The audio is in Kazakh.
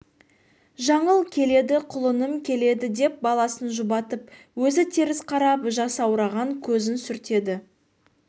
жаңыл келеді құлыным келеді деп баласын жұбатып өзі теріс қарап жасаураған көзін сүртеді